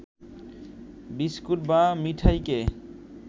biscuit বা মিঠাইকে